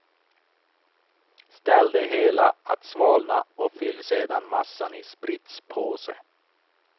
Ställ det hela att svalna och fyll sedan massan i spritspåse.